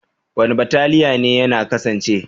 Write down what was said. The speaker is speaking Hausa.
Wani bataliya ne yana kasance?